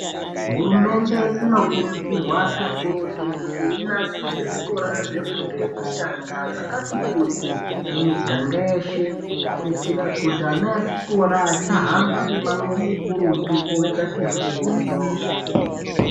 Hurumende inokurudzurwa kakurutu kuti inasire zvikora zvefundo yekutanga zvakati kuti miganga yeshe kuitira kuti ana echikora achahamba mimango mikurutu kutsvaga mishando.